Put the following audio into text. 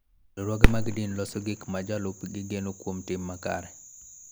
Riwruoge mag din loso gik ma jolupgi geno kuom tim makare.